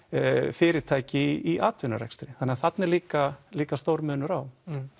fyrirtæki í atvinnurekstri þannig þarna er líka líka stór munur á